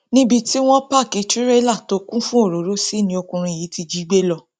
níbi tí wọn páàkì tirẹlà tó kún fún òróró sí ni ọkùnrin yìí ti jí i gbé lọ